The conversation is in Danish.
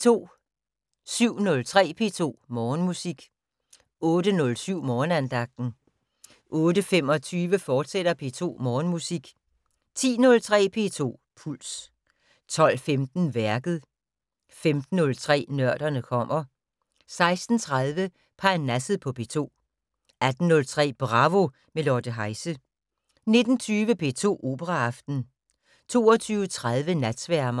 07:03: P2 Morgenmusik 08:07: Morgenandagten 08:25: P2 Morgenmusik, fortsat 10:03: P2 Puls 12:15: Værket 15:03: Nørderne kommer 16:30: Parnasset på P2 18:03: Bravo - med Lotte Heise 19:20: P2 Operaaften 22:30: Natsværmeren